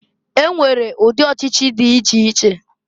E nwere udị ọchịchị dị iche iche.